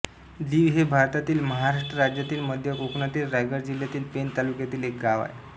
दिव हे भारतातील महाराष्ट्र राज्यातील मध्य कोकणातील रायगड जिल्ह्यातील पेण तालुक्यातील एक गाव आहे